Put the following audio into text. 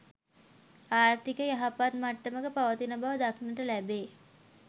ආර්ථිකය යහපත් මට්ටමක පවතින බව දක්නට ලැබේ.